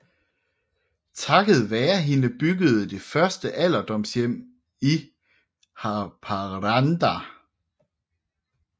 Takket være hende byggedes det første alderdomshjem i Haparanda